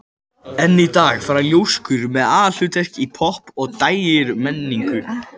Enn í dag fara ljóskur með aðalhlutverk í popp- og dægurmenningu.